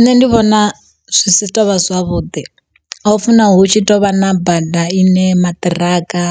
Nṋe ndi vhona zwi si tovha zwavhuḓi a u funa hu tshi tovha na bada ine maṱiraka